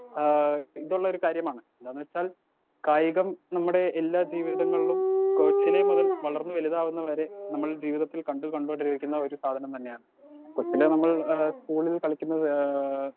Speaker 2 ആ ഇതുള്ളൊരു കാര്യമാണ് എന്താന്ന്വെച്ചാൽ കായികം നമ്മടെ എല്ലാ ജീവിതങ്ങളിലും കൊച്ചിലേ മുതൽ വളർന്ന് വലുതാകുന്നത് വരെ നമ്മൾ ജീവിതത്തിൽ കണ്ടു ഒരു സാധനം തന്നെയാണ് കൊച്ചിലെ നമ്മൾ ഏ സ്കൂളിൽ കളിക്കുന്നത് ഏ.